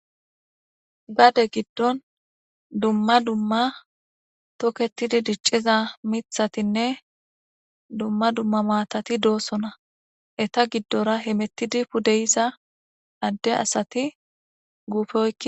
gade giddon dumma dumma toketidi dicciza mithatinne dumma dumma maatati doosona eta giddora hemettidi pudeyiza adde asati guufe oykki